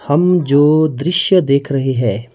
हम जो दृश्य देख रहे हैं--